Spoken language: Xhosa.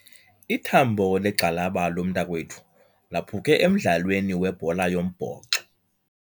Ithambo legxalaba lomntakwethu laphuke emdlalweni webhola yombhoxo.